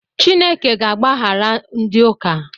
Chineke ga-agbaghara ndị ụka.